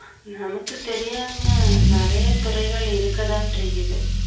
நமக்கு தெரியாம நிறைய துறைகள் இருக்கத்தான் செய்யுது